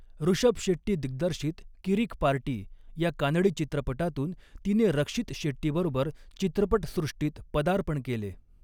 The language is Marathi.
ऋषभ शेट्टी दिग्दर्शित 'किरीक पार्टी' या कानडी चित्रपटातून तिने रक्षित शेट्टीबरोबर चित्रपटसृष्टीत पदार्पण केले.